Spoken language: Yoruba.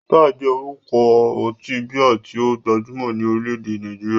Star jẹ́ orúkọ ọtí bíà tí ó gbajúmọ̀ ní orílẹ̀-èdè Nàìjíríà.